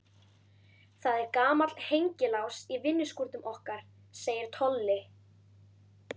Það er gamall hengilás í vinnuskúrnum okkar segir Tolli.